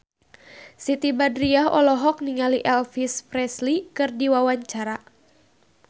Siti Badriah olohok ningali Elvis Presley keur diwawancara